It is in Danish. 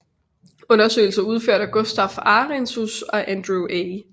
Undersøgelser udført af Gustaf Arrhenius og Andrew A